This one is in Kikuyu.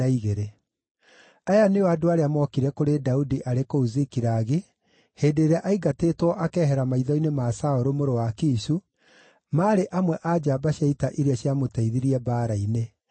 Aya nĩo andũ arĩa mookire kũrĩ Daudi arĩ kũu Zikilagi, hĩndĩ ĩrĩa aaingatĩtwo akehera maitho-inĩ ma Saũlũ mũrũ wa Kishu (maarĩ amwe a njamba cia ita iria ciamũteithirie mbaara-inĩ;